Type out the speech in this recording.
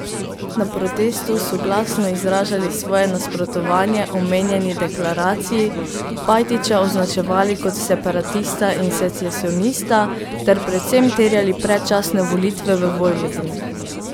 Na protestu so glasno izražali svoje nasprotovanje omenjeni deklaraciji, Pajtića označevali kot separatista in secesionista ter predvsem terjali predčasne volitve v Vojvodini.